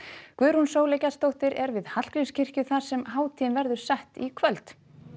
Guðrún Sóley Gestsdóttir er við Hallgrímskirkju þar sem hátíðin verður sett í kvöld